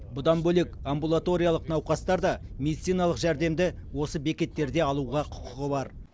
бұдан бөлек амбулаториялық науқастар да медициналық жәрдемді осы бекеттерде алуға құқығы бар